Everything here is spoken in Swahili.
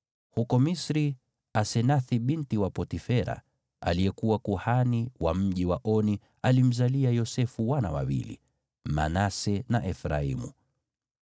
Huko Misri, Asenathi binti wa Potifera, aliyekuwa kuhani wa mji wa Oni, alimzalia Yosefu wana wawili, Manase na Efraimu.